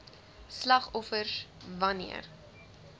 slagoffers wan neer